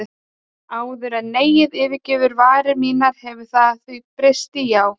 Áður en neiið yfirgefur varir mínar hefur það því breyst í já.